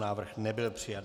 Návrh nebyl přijat.